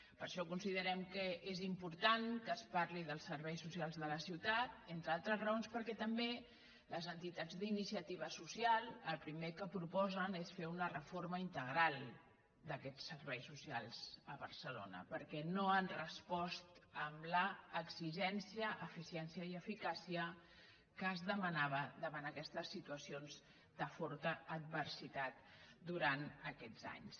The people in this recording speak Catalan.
per això considerem que és important que es parli dels serveis socials de la ciutat entre al·tres raons perquè també les entitats d’iniciativa soci·al el primer que proposen és fer una reforma integral d’aquests serveis socials a barcelona perquè no han respost amb l’exigència eficiència i eficàcia que es de·manava davant aquestes situacions de forta adversitat durant aquests anys